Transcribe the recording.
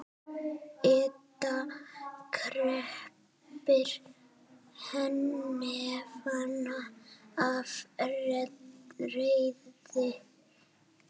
Edda kreppir hnefana af reiði.